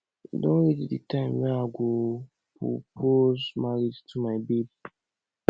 e don reach the time wey i go propose marriage to my babe